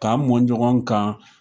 K'a mɔn ɲɔgɔn kan.